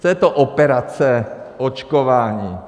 Co je to operace očkování?